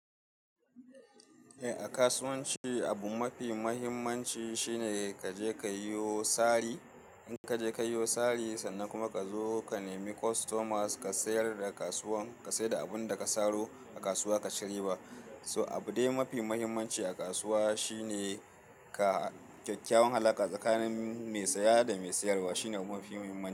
Eh, a kasuwanci dai abu mafi muhimmanci shine kaje kayiwo sari. In kaje kayiwo sari sannan kuma ka zo ka nemi customers ka sayar da kasuwan, ka sayarda abunda ka saro a kasuwa kaci riba. Too abude mafi muhimmanci a kasuwa shine ka kyakkyawan halaka tsakanin mai saya da mai sayarwa shine mafi muhimmanci.